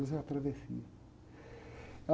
Deus é a travessia.